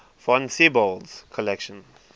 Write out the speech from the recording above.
von siebold's collection